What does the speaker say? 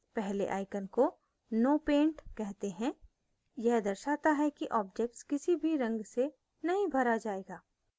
पहले icon को no paint कहते हैं यह दर्शाता है कि object किसी भी रंग से नहीं भरा जायेगा